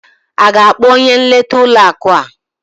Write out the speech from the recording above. Ị ga-akpọ onye nleta ụlọ akụ a?